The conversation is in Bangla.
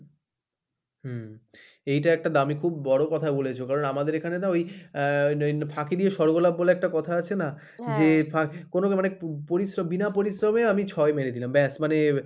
হম এইটা একটা দামি খুব বড় কথা বলেছো কারণ আমাদের এখানে না ওই আহ ফাঁকি দিয়ে স্বর্গলাপ বলে একটা কথা আছে না যে কোন পরিশ্রম, বিনা পরিশ্রমে আমি ছয় মেরে দিলাম ব্যাস মানে,